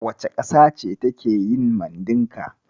Wace ƙasa ce take yin Mandinka?